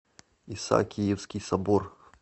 исаакиевский собор